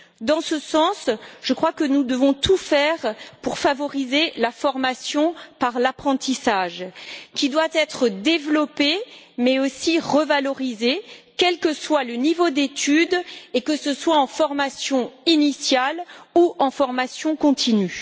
Dans ce sens, je crois que nous devons tout faire pour favoriser la formation par l'apprentissage, qui doit être développé mais aussi revalorisé, quel que soit le niveau d'études et que ce soit en formation initiale ou en formation continue.